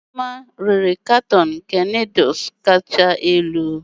Ijeoma rere katoon nke noodles kacha elu, n'ihi isi nke umu anumanu na-adighi ya.